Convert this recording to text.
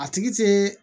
A tigi tɛ